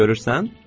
Görürsən?